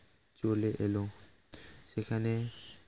চলে এলো সেখানে